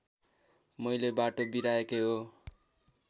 मैले बाटो बिराएकै हो